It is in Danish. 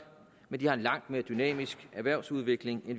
men de har en langt mere dynamisk erhvervsudvikling